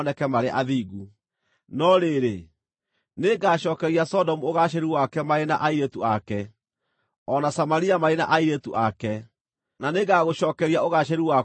“ ‘No rĩrĩ, nĩngacookeria Sodomu ũgaacĩru wake marĩ na airĩtu ake, o na Samaria marĩ na airĩtu ake, na nĩngagũcookeria ũgaacĩru waku o hamwe nao,